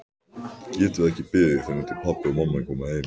Getum við ekki beðið þangað til pabbi og mamma koma?